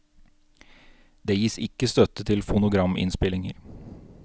Det gis ikke støtte til fonograminnspillinger.